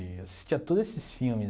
Eu assistia a todos esses filmes.